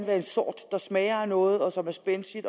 være en sort der smager af noget og som er spændstig